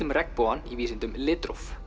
regnbogann í vísindum litróf